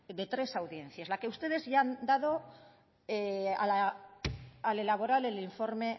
de tres audiencias la que ustedes ya han dado al elaborar el informe